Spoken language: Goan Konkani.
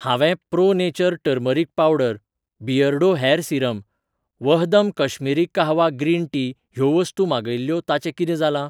हावें Pro Nature turmeric powder, Beardo hair serum, Vahdam Kashmiri kahwa green tea ह्यो वस्तू मागयिल्ल्यो ताचें कितें जालां